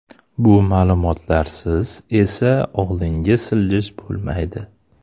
Bu ma’lumotlarsiz esa oldinga siljish bo‘lmaydi.